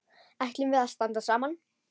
Ætlum við að standa saman?